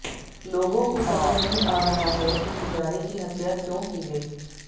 लोगों को समझ नहीं आ रहा है कि पुजारी की हत्या क्यों की गई